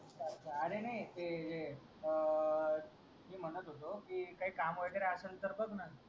अरे नाय ते जे अं मी म्हणत होतो कि काय काम वगैरे असेल त बघ ना